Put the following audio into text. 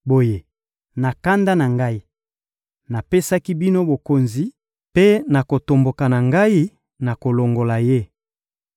Boye, na kanda na Ngai, napesaki bino mokonzi, mpe na kotomboka na Ngai, nakolongola ye.